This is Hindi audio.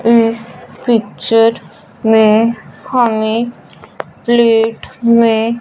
इस पिक्चर में हमें प्लेट में--